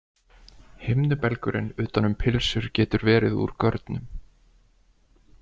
Himnubelgurinn utan um pylsur getur verið úr görnum.